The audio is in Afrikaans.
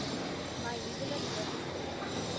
my huwelik registreer